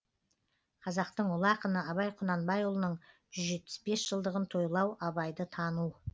қазақтың ұлы ақыны абай құнанбайұлының жүз жетпіс бес жылдығын тойлау абайды тану